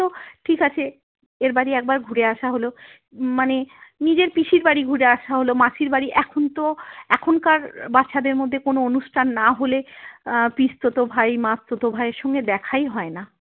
ঠিক আছে এর বাড়ি একবার ঘুরে আসা হল উম মানে নিজের পিসির বাড়ি ঘুরে আসা হল মাসির বাড়ি এখন তো এখনকার বাচ্চাদের মধ্যে কোন অনুষ্ঠান না হলে আহ পিস্তত ভাই মাস্তত ভাই এর সঙ্গে দেখাই হয় না।